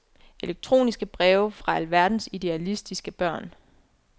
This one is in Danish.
Elektroniske breve fra alverdens idealistiske børn.